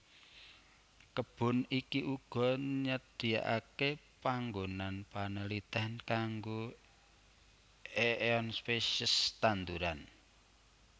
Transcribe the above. Kebun iki uga nyadiakake panggonan panelitèn kanggo éeon spesies tanduran